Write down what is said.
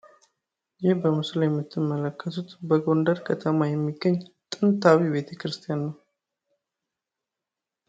ይህ በምስሉ ላይ የምትመለከቱት በጎንደር ከተማ የሚገኝ ጥንታዊ ቤተክርስቲያን ነው።